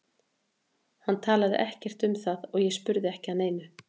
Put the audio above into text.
Hann talaði ekkert um það og ég spurði ekki að neinu.